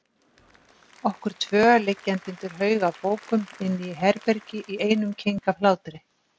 Okkur tvö liggjandi undir haug af bókum inni í herbergi í einum keng af hlátri.